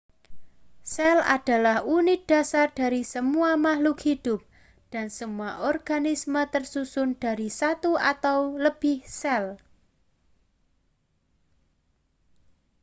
sel adalah unit dasar dari semua makhluk hidup dan semua organisme tersusun dari satu atau lebih sel